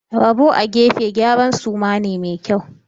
Rabo a gefe gyaran suma ne mai kyau.